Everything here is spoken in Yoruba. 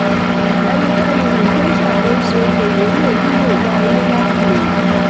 ẹnikẹ́ni um tó ń ṣàkóso okò-òwò lè nílò yá owó láti gbòòrò.